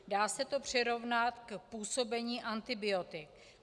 Dá se to přirovnat k působení antibiotik.